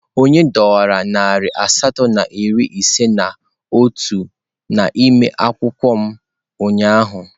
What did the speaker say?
Onye dọwara narị asatọ na iri ise na otu n'ime akwụkwọ m ụnyaahụ?